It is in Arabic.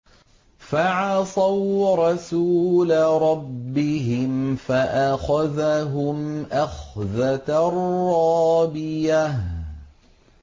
فَعَصَوْا رَسُولَ رَبِّهِمْ فَأَخَذَهُمْ أَخْذَةً رَّابِيَةً